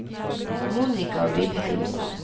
Monika Wilhelmsen